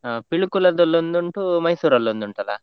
ಹ Pilikula ದಲ್ಲೊಂದು ಉಂಟು, Mysore ಲ್ಲೊಂದು ಉಂಟಾಲ್ಲ?